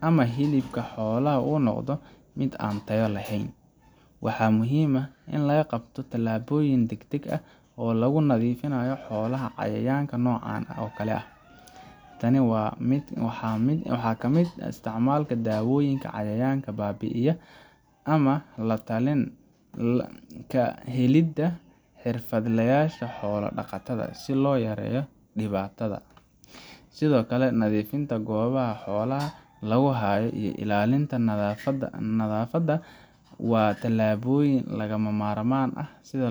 ama hilibka xoolaha uu noqdo mid aan tayo lahayn. Waxa muhiim ah in la qaado tallaabooyin degdeg ah oo lagu nadiifinayo xoolaha cayayaanka noocan oo kale ah. Tani waxaa ka mid ah isticmaalka daawooyinka cayayaanka baabi’iyaa ama la-talin ka helidda xirfadlayaasha xoolo dhaqatada si loo yareeyo dhibaatada. Sidoo kale, nadiifinta goobaha xoolaha lagu hayo iyo ilaalinta nadaafadda waa tallaabooyin lagama maarmaan ah sida